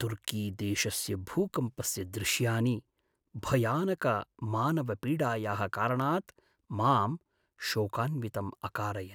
तुर्कीदेशस्य भूकम्पस्य दृश्यानि, भयानकमानवपीडायाः कारणात् मां शोकान्वितं अकारयन्।